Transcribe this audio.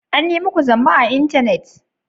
An yi muku zamba a intanet?